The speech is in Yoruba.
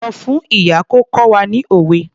Sọ fún ìyá kó kọ́ wa ní òwe.